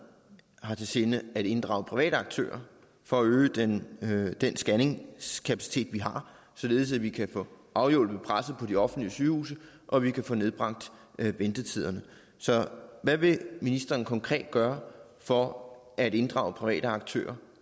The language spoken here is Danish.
har i sinde at inddrage private aktører for at øge den den scanningskapacitet vi har således at vi kan få afhjulpet presset på de offentlige sygehuse og vi kan få nedbragt ventetiderne hvad vil ministeren konkret gøre for at inddrage private aktører